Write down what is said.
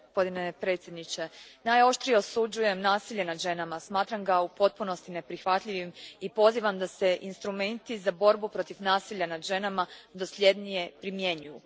Gospodine predsjedniče, najoštrije osuđujem nasilje nad ženama, smatram ga u potpunosti neprihvatljivim i pozivam da se instrumenti za borbu protiv nasilja nad ženama dosljednije primjenjuju.